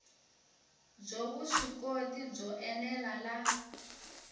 byo vuswikoti byo ene la